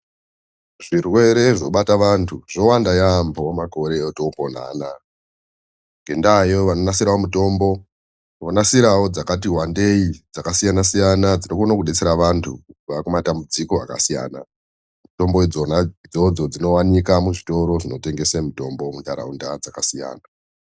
Zvirwere zvobata vantu zvowanda yaampho makore otopona anaya Ngendaayo, vonasirawo mitombo, vonasirawo mitombo dzakati wandei, dzakasiyana-siyana dzinokona kudetsera vantu kubva muzvirwere zvakasiyana. Mitombo idzona dzinotengeswe muzvitoro zvinotengesa mitombo